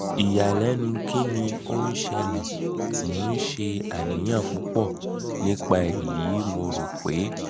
iyalẹnu kini o n sele? mo n ṣe aniyan pupọ nipa eyi mo ro pe